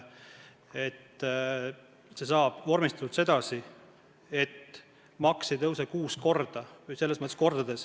See saab vormistatud sedasi, et maks ei tõuse kuus korda või mitu korda.